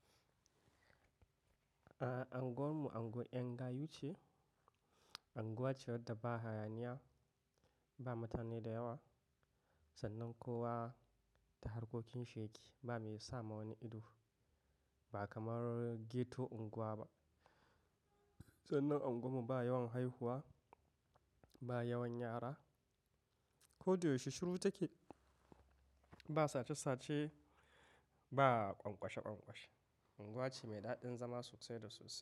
Anguwar mu anguwan yan gayu ce. Anguwa ce wadda ba hayaniya, ba mutane da yawa sannan kowa da harkokin sheki ba me yi sa ma wani ido. Ba kamar ghetto unguwa ba. Sannan unguwar mu ba yawan haihuwa, ba yawan yara, ko da yaushe shiru take. Ba sace sahe, ba ƙwanƙwashe ƙwanƙwashe. Anguwa ce mai daɗin zama sosai da sosai.